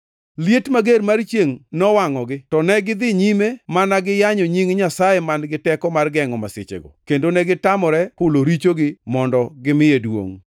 Liet mager mar chiengʼ nowangʼogi to negidhi nyime mana giyanyo nying Nyasaye man-gi teko mar gengʼo masichego, kendo negitamore hulo richogi mondo gimiye duongʼ.